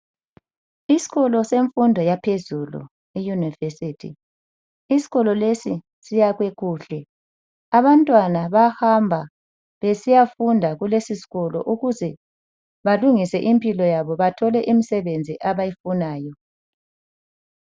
Iskolo semfundo yaphezulu iyunivesithi. Iskolo esi siyakhwe kuhle abantwana bahamba besiyafunda kulesiskolo ukuze balungise impilo yabo bathole imsebenzi abayifunayo